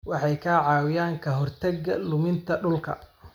Waxay ka caawiyaan ka hortagga luminta dhulka.